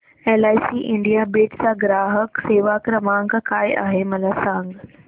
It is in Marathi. एलआयसी इंडिया बीड चा ग्राहक सेवा क्रमांक काय आहे मला सांग